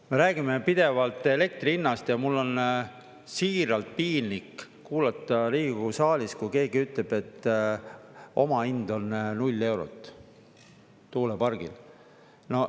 Me räägime pidevalt elektri hinnast ja mul on siiralt piinlik kuulata Riigikogu saalis, kui keegi ütleb, et omahind on null eurot tuulepargil.